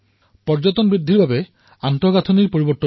পৰ্যটন বৃদ্ধিৰ বাবে আন্তঃগাঁথনি উন্নত কৰিলো